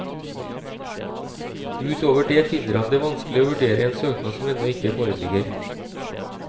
Ut over det finner han det vanskelig å vurdere en søknad som ennå ikke foreligger.